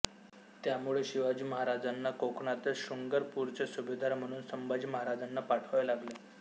त्यामुळे शिवाजी महाराजांना कोकणातील शृंगारपूरचे सुभेदार म्हणून संभाजी महाराजांना पाठवावे लागले